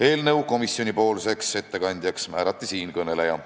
Eelnõu komisjonipoolseks ettekandjaks määrati siinkõneleja.